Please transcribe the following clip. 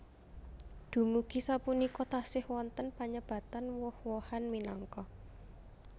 Dumugi sapunika tasih wonten panyebatan woh wohan minangka